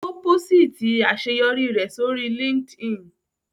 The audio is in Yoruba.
Ó pósìtì àṣeyọrí rẹ̀ sórí LinkedIn